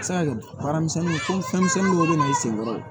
Baara misɛnnin fɛnmisɛnnin dɔw bɛ na i sen kɔrɔ